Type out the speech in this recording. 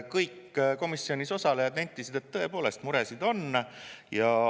Kõik komisjonis osalejad nentisid, et tõepoolest, muresid on.